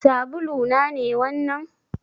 Sabulu na ne wannan?